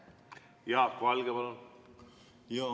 Jaak Valge, palun!